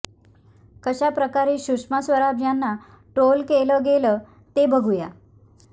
कशा प्रकारे सुषमा स्वराज यांना ट्रोल केलं गेलं ते बघुया